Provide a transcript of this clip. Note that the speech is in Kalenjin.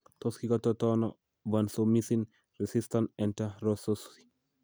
Tot kikototoono vancomycin resistant enterococci ?